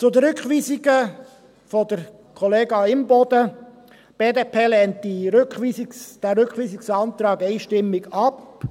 Zur Rückweisung der Kollegin Imboden: Die BDP lehnt diesen Rückweisungsantrag einstimmig ab.